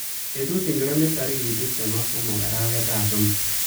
Betut ingoro ne tarik tuptem ak somok arawetap somok?